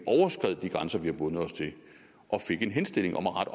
grænser vi havde bundet os til og fik en henstilling om at rette